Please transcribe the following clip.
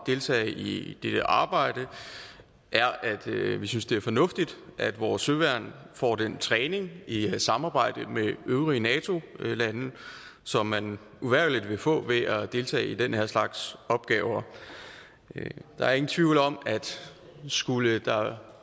deltage i det arbejde er at vi synes det er fornuftigt at vores søværn får den træning i i samarbejde med øvrige nato lande som man uvægerlig vil få ved at deltage i den her slags opgaver der er ingen tvivl om at skulle der